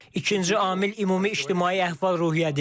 İkinci amil ümumi ictimai əhval-ruhiyyədir.